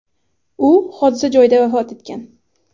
U hodisa joyida vafot etgan.